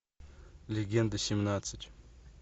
легенда семнадцать